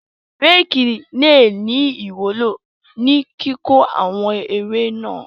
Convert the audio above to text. Rékì le ní ìwúló ní kíkó àwọn ewé náà.